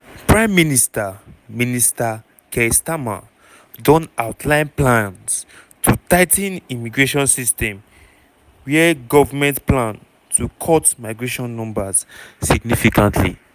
prime minister minister keir starmer don outline plans to tigh ten immigration system wia govment plan to cut migration numbers significantly.